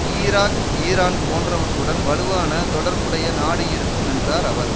Iraq Iran போன்றவற்றுடன் வலுவான தொடர்புடைய நாடு இருக்கும் என்றார் அவர்